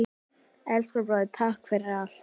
Elsku bróðir, takk fyrir allt.